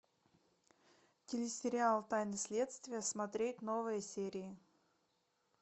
телесериал тайны следствия смотреть новые серии